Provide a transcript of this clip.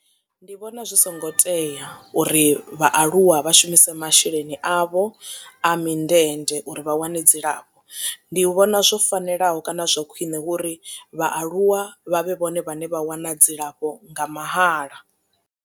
Ndi vhona zwi songo tea uri vhaaluwa vha shumise masheleni avho a mindende uri vha wane dzilafho ndi vhona zwo fanelaho kana zwa khwiṋe hu uri vhaaluwa vha vhe vhone vhane vha wana dzilafho nga mahala.